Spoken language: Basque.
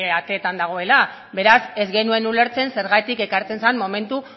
ateetan dagoela beraz ez genuen ulertzen zergatik ekartzen zen momentu